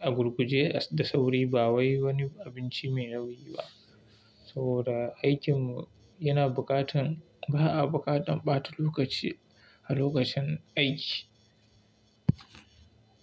agur guje da sauri ba wai wani abinci mai nauyi ba. Saboda aikin mu yana buƙatan ba a buƙatan ɓata lokaci a lokacin aiki.